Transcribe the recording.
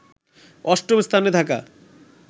অস্টম স্থানে থাকা